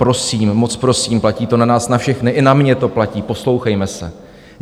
Prosím, moc prosím, platí to na nás na všechny, i na mě to platí, poslouchejme se.